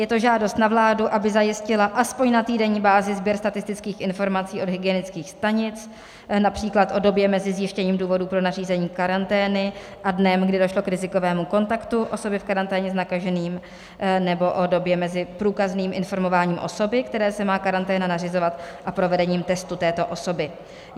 Je to žádost na vládu, aby zajistila aspoň na týdenní bázi sběr statistických informaci od hygienických stanic, například o době mezi zjištěním důvodů pro nařízení karantény a dnem, kdy došlo k rizikovému kontaktu osoby v karanténě s nakaženým, nebo o době mezi průkazným informováním osoby, které se má karanténa nařizovat, a provedením testu této osoby.